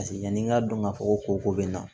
yanni n k'a dɔn k'a fɔ ko ko bɛ n na